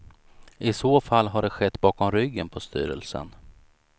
I så fall har det skett bakom ryggen på styrelsen.